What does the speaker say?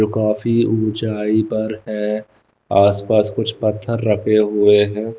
जो काफी ऊंचाई पर है आसपास कुछ पत्थर रखे हुए है।